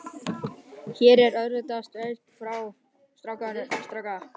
Hér er alvöru steik fyrir stráka.